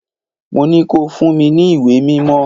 Mo ní ko fún mi ní ìwé mímọ́!